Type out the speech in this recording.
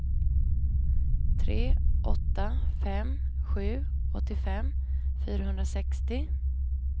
tre åtta fem sju åttiofem fyrahundrasextio